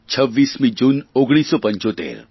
26મી June 1975